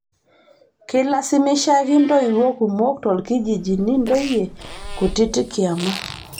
Keilasimishaki ntoiwuo kumok toolkijijini ntoyie kutitik kiama